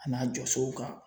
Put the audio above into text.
A n'a jɔsow kan.